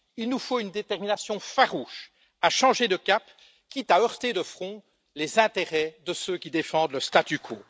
Il nous faut une détermination farouche à changer de cap, quitte à heurter de front les intérêts de ceux qui défendent le statu quo.